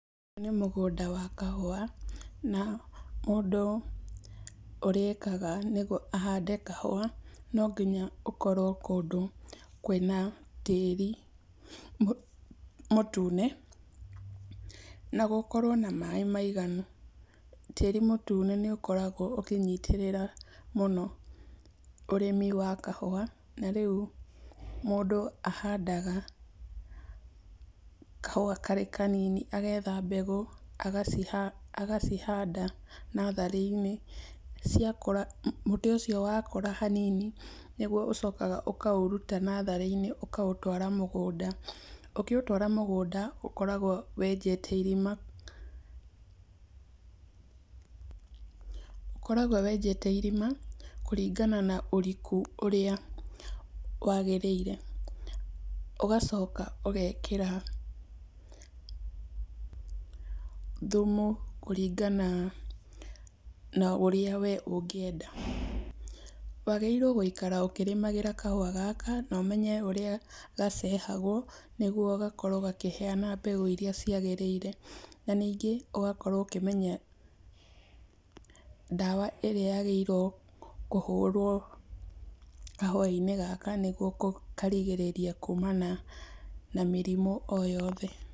Nĩ mũgũnda wa kahũa na mũndũ ũrĩa ekaga, nĩ gũ, ahande kahũa nonginya ũkorwo kũndũ kwĩna tĩĩri mũ, mũtũne na gũkorwo na maĩ maiganũ. Tĩti mũtũne nĩũkoragwo ũkĩnyitĩrĩra mũno ũrĩmi wa kahũa, na rĩũ mũndũ ahandaga kahũa karĩ kanini. Agetha mbegũ agaci, agacihanda natharĩ-inĩ. Ciakũra, mũtĩ ũcio wakũra hanini, nĩgũo ũcokaga ũkaũrũta natharĩ-inĩ ũkaũtwara mũgũnda. Ũkĩũtwara mũgũnda ũkoragwo wenjete irima, ũkoragwo wenjete irima kũrinana na ũrikũ ũrĩa wagĩrĩire. Ũgacoka ũgekĩra thũmũ, kũringana na ũrĩa we ũngĩenda. Wagĩrĩirũo gũikara ũkĩrĩmagĩra kahũa gaka na ũmenye ũrĩa gacahagwo, nĩgũo gakorwo gakĩheana mbegũ irĩa ciagĩrĩire. Na ningĩ, ũgakorwo ũkĩmenya ndawa ĩrĩa yagĩrĩirũo kũhũrwo kahũa gaka nĩgũo karigĩrĩrie kũma na mĩrimũ oyothe.